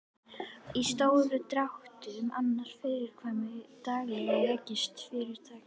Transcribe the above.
Í stórum dráttum annast framkvæmdastjóri daglegan rekstur fyrirtækisins.